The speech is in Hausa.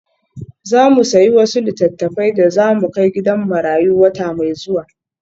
Za mu sayi wasu littattafai da za mu kai gidan marayu wata mai zuwa.